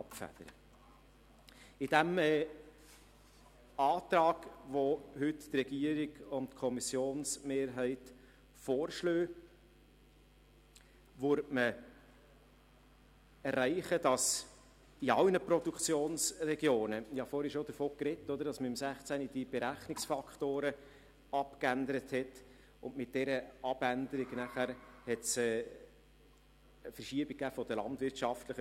Mit dem Antrag, den die Regierung und die Kommissionsmehrheit heute vorschlagen, würde man erreichen, dass man in allen Produktionsregionen ungefähr wieder gleichviel landwirtschaftliche Gewerbe hätte wie vor der Änderung dieser Berechnungsfaktoren im Jahr 2016.